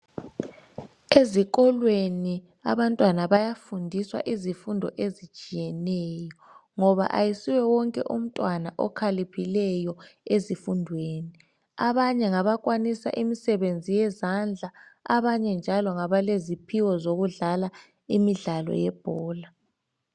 Ezikolweni abantwana bayafundiswa izifundo ezitshiyeneyo ngoba ayisiwo wonke umntwana okhaliphileyo ezifundweni. Abanye ngabakwanisa imisebenzi yezandla, abanye njalo ngabaleziphiwo sokudlala imidlalo yebhola.